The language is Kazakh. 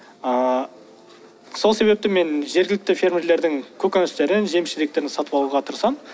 ааа сол себепті мен жергілікті фермерлердің көкөністерін жеміс жидектерін сатып алуға тырысамын